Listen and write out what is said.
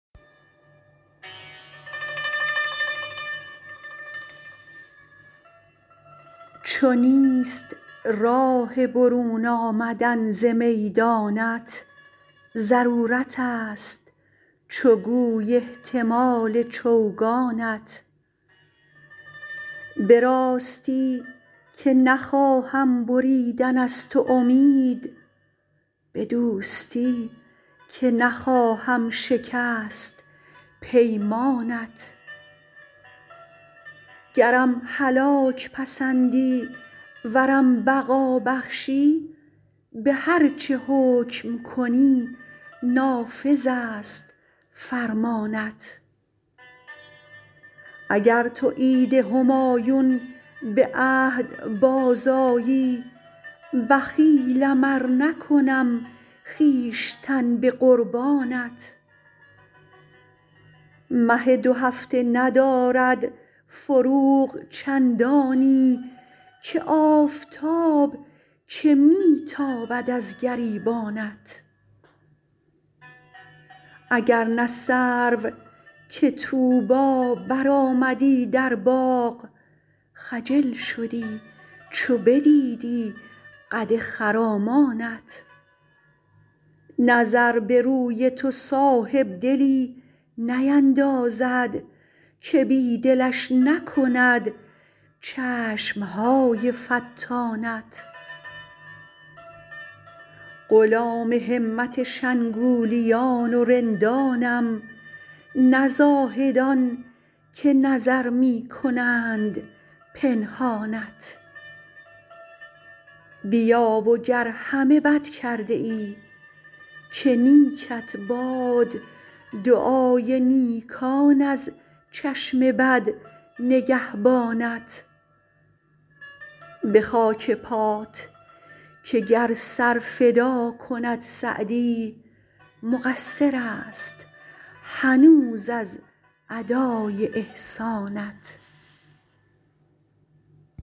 چو نیست راه برون آمدن ز میدانت ضرورتست چو گوی احتمال چوگانت به راستی که نخواهم بریدن از تو امید به دوستی که نخواهم شکست پیمانت گرم هلاک پسندی ورم بقا بخشی به هر چه حکم کنی نافذست فرمانت اگر تو عید همایون به عهد بازآیی بخیلم ار نکنم خویشتن به قربانت مه دوهفته ندارد فروغ چندانی که آفتاب که می تابد از گریبانت اگر نه سرو که طوبی برآمدی در باغ خجل شدی چو بدیدی قد خرامانت نظر به روی تو صاحبدلی نیندازد که بی دلش نکند چشم های فتانت غلام همت شنگولیان و رندانم نه زاهدان که نظر می کنند پنهانت بیا و گر همه بد کرده ای که نیکت باد دعای نیکان از چشم بد نگهبانت به خاک پات که گر سر فدا کند سعدی مقصرست هنوز از ادای احسانت